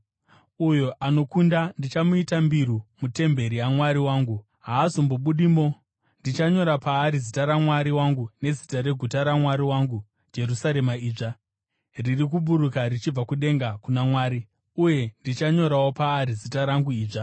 Uyo anokunda ndichamuita mbiru mutemberi yaMwari wangu. Haazombobudimo. Ndichanyora paari zita raMwari wangu nezita reguta raMwari wangu, Jerusarema idzva, riri kuburuka richibva kudenga kuna Mwari; uye ndichanyorawo paari zita rangu idzva.